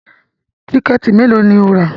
Tíkẹ̀tì mélòó ni o rà